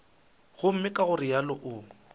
gomme ka go realo o